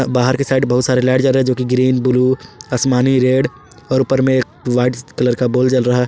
बाहर के साइड बहुत सारे लाइट जल रहे हैं जो कि ग्रीन ब्लू आसमानी रेड और ऊपर में एक व्हाइट कलर का बल्ब जल रहा है।